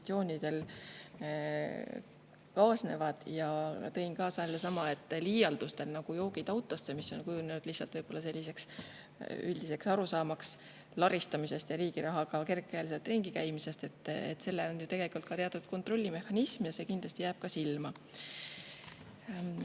Tõin ka sellesama, et liialdustel, nagu "joogid autosse", mis on kujunenud üldise arusaama järgi laristamise ja riigi rahaga kergekäeliselt ringi käimise, on ju tegelikult teatud kontrollimehhanism ja need kindlasti jäävad silma.